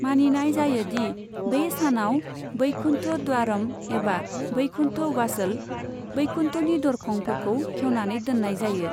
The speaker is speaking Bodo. मानिनाय जायो दि, बे सानाव वैकुन्ठ द्वारम एबा वैकुन्ठ वासल, 'वैकुन्ठनि दरखं' फोरखौ खेवनानै दोननाय जायो।